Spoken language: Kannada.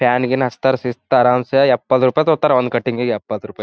ಫ್ಯಾನ್ ಗಿನ್ ಹಚ್ತಾರ ಶಿಸ್ತ ಅರಾಮ್ಸೆ ಎಪ್ಪತ್ ರೂಪಾಯಿ ತಗೋತಾರ ಒಂದ್ ಕಟ್ಟಿಂಗ್ಗೆ ಎಪ್ಪತ್ ರೂಪಾಯಿ.